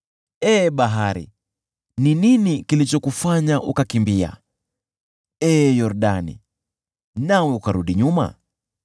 Ee bahari, ni nini kilichokufanya ukakimbia, nawe, ee Yordani, ukarudi nyuma,